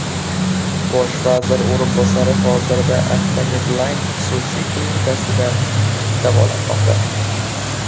Bosh vazir o‘rinbosari hozirda Akfa Medline xususiy klinikasida davolanmoqda.